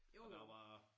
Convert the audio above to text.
Og der var